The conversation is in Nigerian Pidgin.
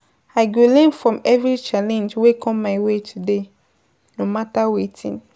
I go learn from every challenge wey come my way today, no matter wetin.